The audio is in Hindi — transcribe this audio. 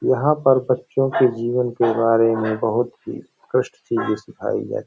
यहाँ पर बच्चो के जीवन के बारे में बहुत ही कष्ट चीज़े सिखाई जा --